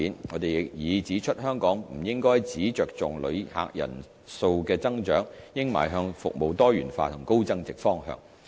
我們亦已指出香港不應只着重旅客人數的增長，應邁向服務多元化和高增值方向。